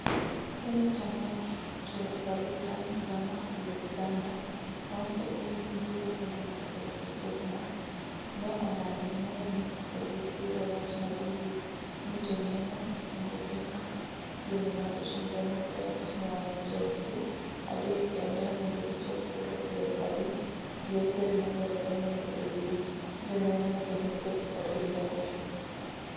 Seneta mar jo republican Lamar Alexander, maneosegen ni biro kelo lokruok e kes no, ne olando nyoro ni oko bi siro wach mar yie ni joneno kendo ketho geno mar jo democrats nuang'o jog gi adek kende mondo gichop kura piero abich gi achiel madwarore mondo oyie joneno kendo kes odhi mbele